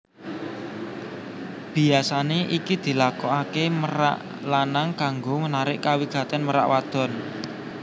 Biyasané iki dilakokaké merak lanang kanggo narik kawigatèn merak wadon